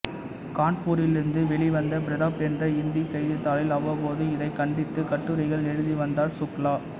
கான்பூரிலிருந்து வெளிவந்த பிரதாப் என்ற இந்தி செய்தித்தாளில் அவ்வப்போது இதைக் கண்டித்து கட்டுரைகள் எழுதிவந்தார் சுக்லா